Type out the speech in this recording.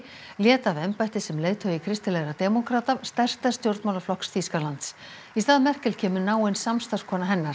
lét af embætti sem leiðtogi kristilegra demókrata stærsta stjórnmálaflokks Þýskalands í stað Merkel kemur náin samstarfskona hennar